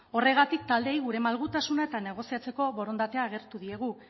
horregatik taldeei gure malgutasuna eta negoziatzeko borondatea agertu diegu